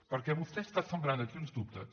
perquè vostè està sembrant aquí uns dubtes